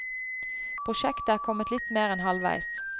Prosjektet er kommet litt mer enn halvveis.